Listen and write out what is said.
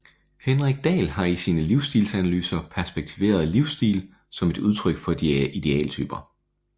Henrik Dahl har i sine livsstilsanalyser perspektiveret livsstil som et udtryk for idealtyper